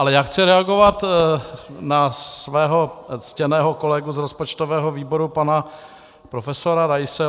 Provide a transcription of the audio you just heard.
Ale já chci reagovat na svého ctěného kolegu z rozpočtového výboru, pana profesora Raise.